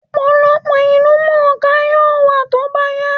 Ọ̀pọ̀lọpọ̀ ìlúmọọká yóò wà tó bá yá